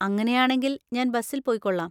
അങ്ങനെയാണെങ്കിൽ ഞാൻ ബസ്സിൽ പോയിക്കൊള്ളാം.